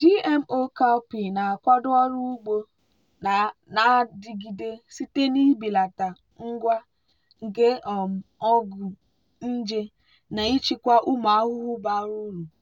gmo cowpea na-akwado ọrụ ugbo na-adigide site n'ibelata ngwa nke um ọgwụ nje na ichekwa ụmụ ahụhụ bara uru.